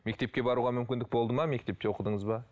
мектепке баруға мүмкіндік болды ма мектепте оқыдыңыз ба